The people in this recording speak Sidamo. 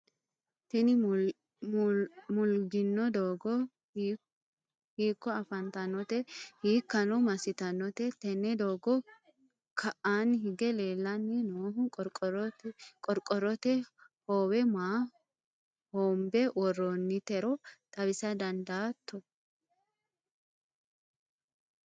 tini mulluuggino doogo hiikko afantannote? hiikkano massitannote? tenne doogora ka'aanni hige leellanni noohu qorqorrote hoowe maa hoombe worroonnitero xawisa dandaatto?